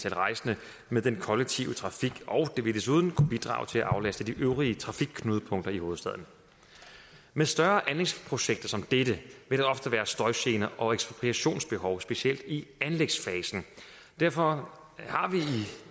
af rejsende med den kollektive trafik og det vil desuden kunne bidrage til at aflaste de øvrige trafikknudepunkter i hovedstaden med større anlægsprojekter som dette vil der ofte være støjgener og ekspropriationsbehov specielt i anlægsfasen derfor har vi